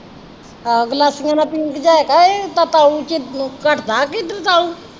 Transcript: ਆਹ ਗਲਾਸੀਆਂ ਨਾਲ ਪੀਂਦੀਆਂ ਘੱਟਦਾ ਕਿ ਇੱਧਰ